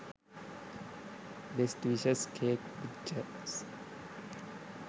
best wishes cake pictures